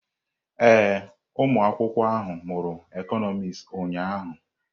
Ee, ụmụ akwụkwọ ahụ mụrụ Ekonomis ụnyaahụ.